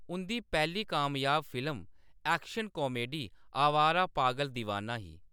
उंʼदी पैह्‌ली कामयाब film action comedy Awara Paagal Deewana ही।